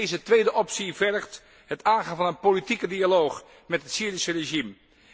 Deze tweede optie vergt het aangaan van een politieke dialoog met het Syrische regime.